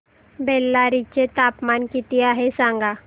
बेल्लारी चे तापमान किती आहे सांगा